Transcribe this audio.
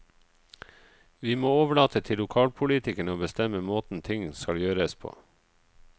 Vi må overlate til lokalpolitikerne å bestemme måten ting skal gjøres på.